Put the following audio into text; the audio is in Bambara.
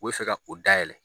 U be fe ka o dayɛlɛ